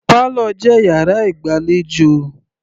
Parlour jẹ́ yàrá ìgbàlejò.